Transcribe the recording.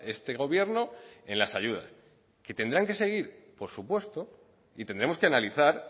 este gobierno en las ayudas que tendrán que seguir por supuesto y tendremos que analizar